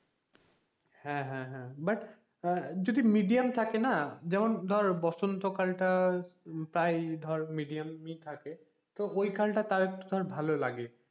হ্যাঁ হ্যাঁ হ্যাঁ but আহ যদি medium থাকে না যেমন ধর বসন্ত কালটা প্রায় ধর medium ই থাকে তো ওই কালটা তাও একটু ভালো লাগে,